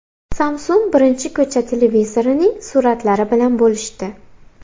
Samsung birinchi ko‘cha televizorining suratlari bilan bo‘lishdi.